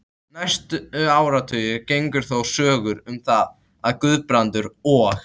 Næstu áratugi gengu þó sögur um það, að Guðbrandur og